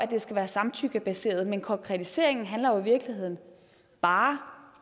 det skal være samtykkebaseret men konkretiseringen handler jo i virkeligheden bare